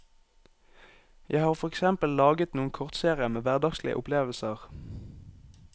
Jeg har for eksempel laget noen kortserier med hverdagslige opplevelser.